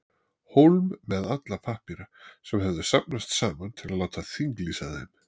Hólm með alla pappíra, sem höfðu safnast saman, til að láta þinglýsa þeim.